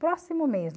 Próximo mesmo.